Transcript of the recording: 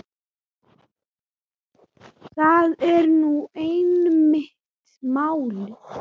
Það er nú einmitt málið.